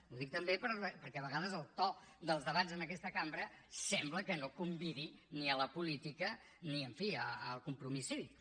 ho dic també perquè a vegades el to dels debats en aquesta cambra sembla que no convidi ni a la política ni en fi al compromís cívic